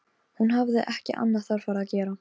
Hún hafði ekki annað þarfara að gera.